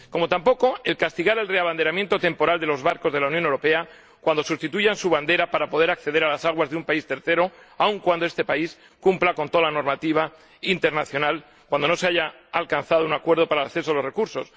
Tampoco aprobamos que se castigue el reabanderamiento temporal de los barcos de la Unión Europea cuando sustituyen su bandera para poder acceder a las aguas de un tercer país —incluso si este país cumple con toda la normativa internacional— en caso de que no se haya alcanzado un acuerdo para el acceso a los recursos